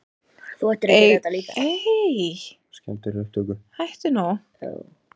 Eigum við að sjá það?